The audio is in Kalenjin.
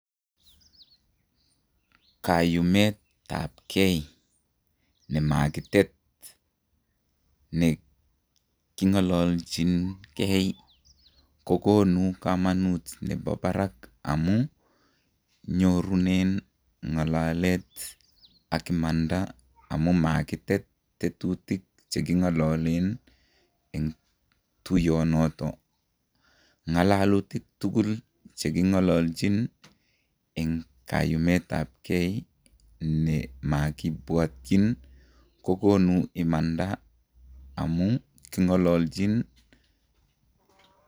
Kayumetabken nemakitet nekingalalchinken kokonu kamanut nebo barak amun, nyorunen ngalalet ak imandai amun makitet tetutik chekingalalen eng tuyonoto, ngalalutik tukul chekingalalchin eng kayumetabken ne makibwatyin ko kokonu imandai amun kingalalchin.